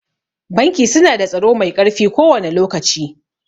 Banki su na da tsaro mai ƙarfi kowane lokaci